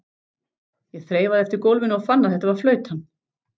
Ég þreifaði eftir gólfinu og fann að þetta var flautan.